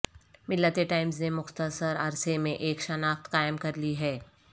ملت ٹائمز نے مختصر عرصہ میں ایک شناخت قائم کرلی ہے